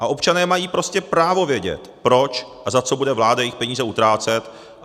A občané mají prostě právo vědět, proč a za co bude vláda jejich peníze utrácet.